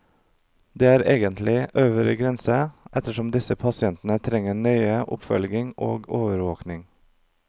Det er egentlig øvre grense, ettersom disse pasientene trenger nøye oppfølging og overvåking.